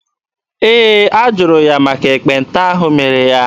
Ee, a jụrụ ya maka ekpenta ahụ mere ya.